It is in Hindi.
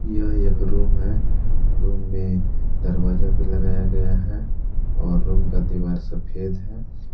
यह एक रूम है रूम में दरवाजा भी लगाया गया है और रूम का दीवार सफेद है।